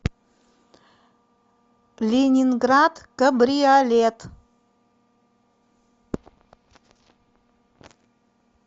ленинград кабриолет